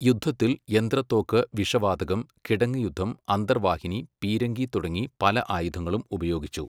യുദ്ധത്തിൽ യന്ത്രത്തോക്ക്, വിഷവാതകം, കിടങ്ങ് യുദ്ധം, അന്തർ വാഹിനി, പീരങ്കി തുടങ്ങി പല ആയുധങ്ങളും ഉപയോഗിച്ചു.